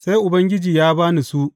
Sai Ubangiji ya ba ni su.